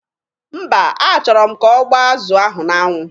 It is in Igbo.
Mba, a chọrọ m ka ọ gbaa azụ ahụ n'anwụ.